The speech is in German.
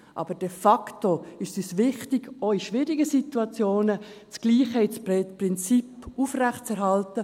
Aber de facto ist es uns wichtig, auch in schwierigen Situationen das gleiche Prinzip aufrechtzuhalten.